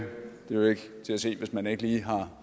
jo ikke til at se hvis man ikke lige